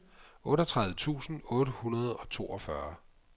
otteogtredive tusind otte hundrede og toogfyrre